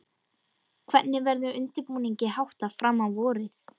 Hvernig verður undirbúningi háttað fram á vorið?